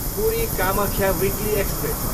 Puri, Kamakhya weekly express